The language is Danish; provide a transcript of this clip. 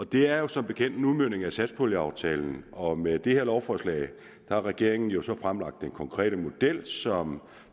det er jo som bekendt en udmøntning af satspuljeaftalen og med det her lovforslag har regeringen så fremlagt den konkrete model som